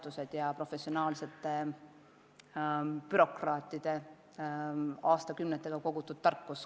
Ta saab kasutada professionaalsete bürokraatide aastakümnetega kogutud tarkusi.